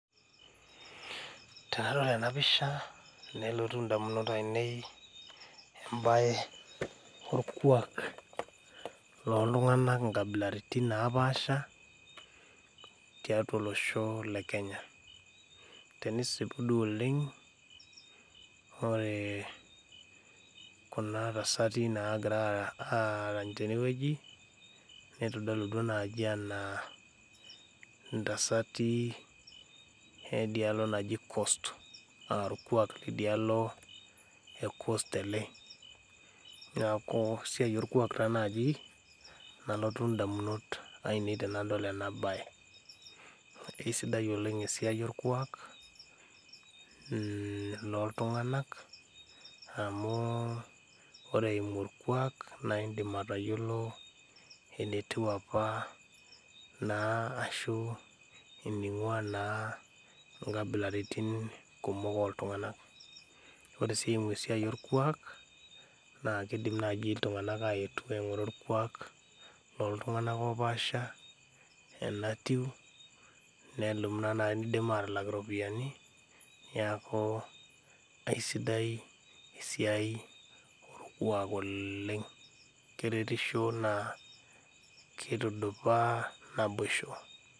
Tenadol ena pisha nelotu indamunot aine iltung'anak lorkuak inkabilaritin naapaasha toslosho lekenya ore kuna tasati naagira arany tenewueji neitodolutua naaji enaa intasati edialo najo cost orkuak nidialo naji kost nalotu indamunot ainei tenadol en baye keisidai esiai oleng orkuak mm loontung'anak amu ore eimu orkuak naa indiim aatayiolo einiang'ua naa inkabilaritin kumok ooltung'anak ore sii eimu esiai orkuak naa keidim naaji iltung'anak aetu aing'ura orkuak loontung'anak oopasha enatiu neisim aatalaka iropiyiani neeku keisidai esiai orkuak oleng keretisho naa keitudupaa naboisho